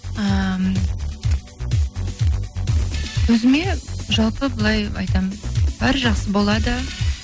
ііі өзіме жалпы былай айтамын бәрі жақсы болады